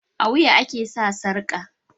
A wuya ake sa sarƙa